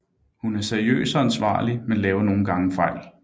Hun er seriøs og ansvarlig men laver nogle gange fejl